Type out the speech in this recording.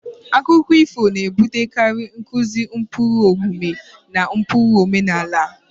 Akụkọ ifo na-ebutekarị nkuzi ụkpụrụ omume na ụkpụrụ omenala.